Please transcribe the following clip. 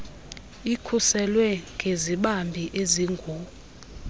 ikhuselwe ngezibambi ezingu